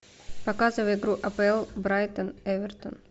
показывай игру апл брайтон эвертон